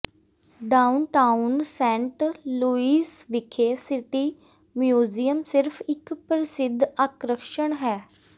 downtown Saint Louis ਵਿਖੇ City Museum ਸਿਰਫ ਇਕ ਪ੍ਰਸਿੱਧ ਆਕਰਸ਼ਣ ਹੈ